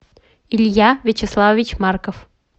илья вячеславович марков